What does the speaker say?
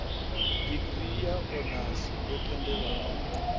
digirii ya onasi yo tendelwaho